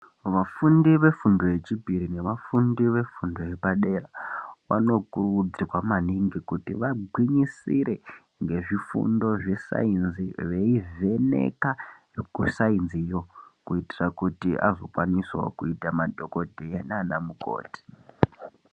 Vafundi vefundo yechipiri nevafundi vefundo yepadera, vanokurudzirwa maningi kuti vagwinyisire ngezvifundo zvesayensi, veyivheneka kusayensi yo, kuyitira kuti azokwanisawo kuyita madhokodheya nanamukoti.